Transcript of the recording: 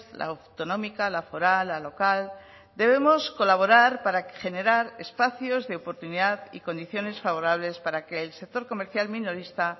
la autonómica la foral la local debemos colaborar para generar espacios de oportunidad y condiciones favorables para que el sector comercial minorista